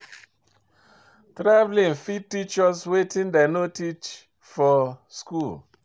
Travelling fit teach us wetin dem no teach for school